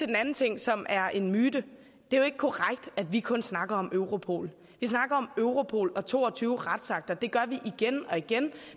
den anden ting som er en myte det er jo ikke korrekt at vi kun snakker om europol vi snakker om europol og to og tyve retsakter det gør vi igen og igen